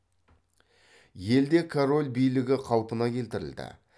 елде король билігі қалпына келтірілді